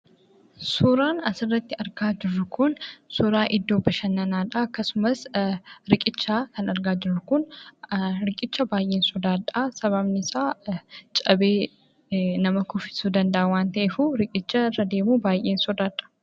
Suuraan asirratti argaa jirru kun suuraa iddoo bashannanaadha akkasumas riqicha kan argaa jirru kun riqicha baay'een sodaadha sababni isaas cabee nama kuffisuu danda'a waan ta'eef.